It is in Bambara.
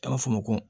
An b'a fɔ o ma ko